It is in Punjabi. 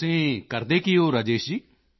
ਤੁਸੀਂ ਕਰਦੇ ਕੀ ਹੋ ਰਾਜੇਸ਼ ਜੀ